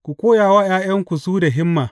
Ku koya wa ’ya’yanku su da himma.